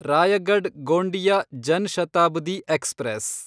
Raigad Gondia Jan Shatabdi express